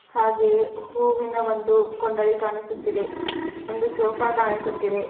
ಹಾಗೆ ಹೂವಿನ ಒಂದು ಕೊಂಡಲಿ ಕಾಣಿಸುತ್ತಿದೆ ಒಂದು ಸೋಫಾ ಕಾಣಿಸುತ್ತಿದೆ.